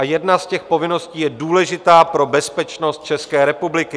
A jedna z těch povinností je důležitá pro bezpečnost České republiky.